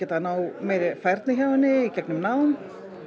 að ná meiri færni hjá henni í gegnum nám